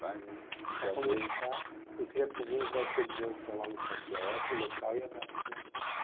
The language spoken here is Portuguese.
Prazer. Para começar, eu queria ir pedindo para você dizer o seu nome completo, local e a data de nascimento.